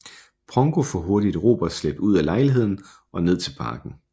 Pongo får hurtigt Robert slæbt ud af lejligheden og ned til parken